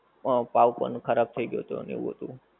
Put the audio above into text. હા પાંવ ઉપર ખરાબ થઈ ગયું તું ને એવું હતું.